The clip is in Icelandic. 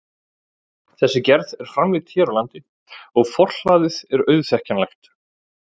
Þessi gerð er framleidd hér á landi og forhlaðið er auðþekkjanlegt.